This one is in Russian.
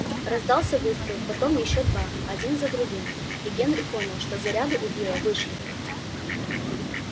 раздался выстрел потом ещё два один за другим и генри понял что заряды у билла вышли